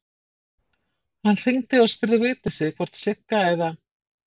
Hann hringdi og spurði Vigdísi hvort Sigga eða